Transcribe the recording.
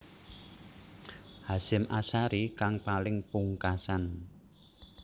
Hasyim Asharie kang paling pungkasan